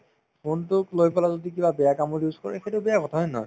phone তোক লৈ পেলাই যদি কিবা বেয়া কামত use কৰে সেইটো বেয়া কথা হয় নে নহয়